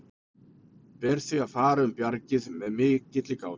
Ber því að fara um bjargið með mikilli gát.